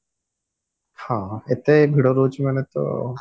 ହଁ ଏତେ ଭିଡ ରହୁଛି ମାନେ ତ ଆଉ